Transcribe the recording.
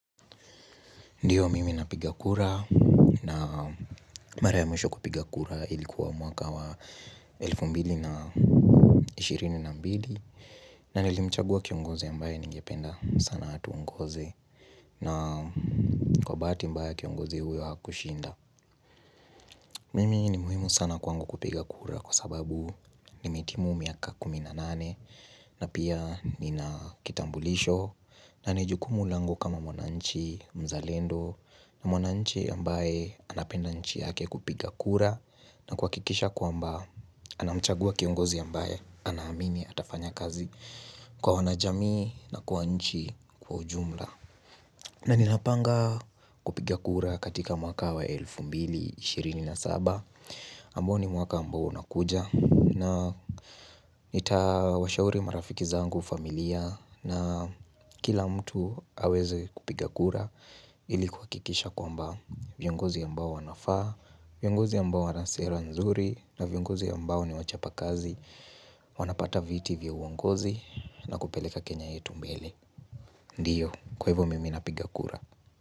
Ndiyo mimi napiga kura na mara ya mwisho kupiga kura ilikuwa mwaka wa 2022 na nilimchagua kiongozi ambaye ningependa sana hatu ungozi na kwa bahati mbaya kiongozi huyo hakushinda Mimi ni muhimu sana kwangu kupiga kura kwa sababu nimetimu miaka kuminanane na pia nina kitambulisho na na ni juukumu langu kama mwananchi mzalendo na mwana nchi ambaye anapenda nchi yake kupiga kura na kwa kikisha kwa mba anamchagua kiongozi ambaye anahamini atafanya kazi kwa wanajami na kwa nchi kwa ujumla na ninapanga kupiga kura katika mwaka wa 2027 ambao ni mwaka ambao unakuja na itawashauri marafiki zangu familia na kila mtu aweze kupiga kura ilikuwa kikisha kwamba viongozi ambao wanafa viongozi ambao wanasera nzuri na viongozi ambao ni wachapa kazi wanapata viti vya uongozi na kupeleka kenya yetu mbele ndiyo, kweivo mimi napigakura.